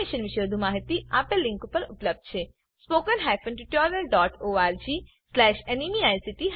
આ મિશન પર વધુ માહીતી આપેલ લીંક પર ઉપલબ્ધ છે spoken hyphen tutorial dot org slash NMEICT hyphen intro